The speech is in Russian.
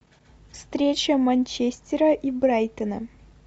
встреча манчестера и брайтона